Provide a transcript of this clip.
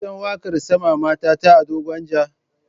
Kin san waƙar Sama Mata ta Ado Gwanja?